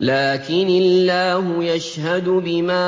لَّٰكِنِ اللَّهُ يَشْهَدُ بِمَا